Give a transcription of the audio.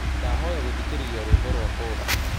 ndahoya gũthĩkĩrĩrĩa rwĩmbo rwa popu